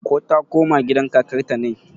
ko ta koma gidan kakarta ne?